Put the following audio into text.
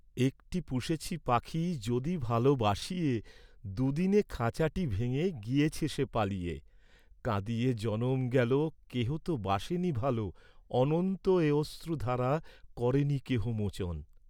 একটী পুষেছি পাখী যদি ভাল বাসিয়ে, দুদিনে খাঁচাটি ভেঙ্গে গিয়েছে সে পালিয়ে, কাঁদিয়ে জনম গেল, কেহ তো বাসেনি ভাল, অনন্ত এ অশ্রুধারা করেনি কেহ মোচন।